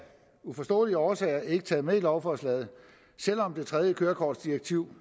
uforståelige årsager ikke taget med i lovforslaget selv om det tredje kørekortsdirektiv